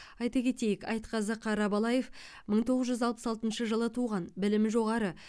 айта кетейік айтқазы қарабалаев мың тоғыз жүз алпыс алтыншы жылы туған білімі жоғары